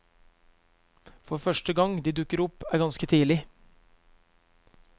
Første gang de dukker opp er ganske tidlig.